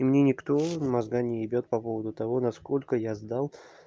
и мне никто мозга не ебёт по поводу того насколько я сдал